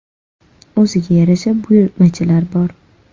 O‘ziga yarasha buyurtmachilar bor.